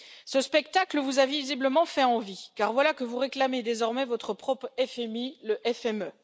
Ce spectacle vous a visiblement fait envie, car voilà que vous réclamez désormais votre propre FMI, le FME.